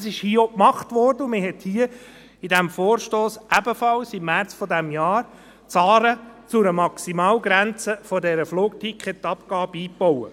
Das wurde hier auch gemacht, und man hat im Vorstoss, ebenfalls im März dieses Jahres, die Zahlen zu einer Maximalgrenze der Flugticketabgabe eingebaut.